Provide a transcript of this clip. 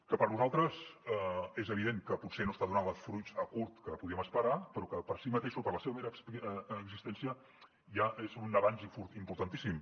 que per nosaltres és evident que potser no està donant els fruits a curt que podíem esperar però que per si mateixa per la seva mera existència ja és un avenç importantíssim